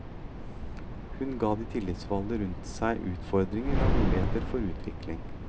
Hun ga de tillitsvalgte rundt seg utfordringer og muligheter for utvikling.